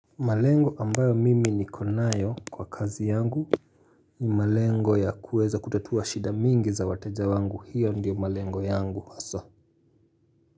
Malengo ambayo mimi niko nayo kwa kazi yangu ni malengo ya kuweza kutatua shida mingi za wateja wangu hiyo ndiyo malengo yangu haswa.